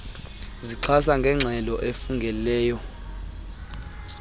zixhaswa yingxelo efungelweyo